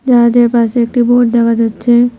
জাহাজের পাশে একটি বোট দেখা যাচ্ছে।